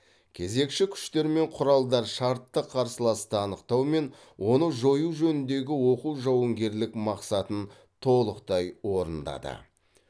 кезекші күштер мен құралдар шартты қарсыласты анықтау мен оны жою жөніндегі оқу жауынгерлік мақсатын толықтай орындады